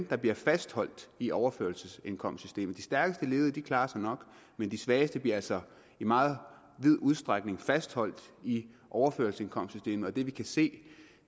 der bliver fastholdt i overførselsindkomstsystemet de stærkeste ledige klarer sig nok men de svageste bliver altså i meget vid udstrækning fastholdt i overførselsindkomstsystemet og det vi kan se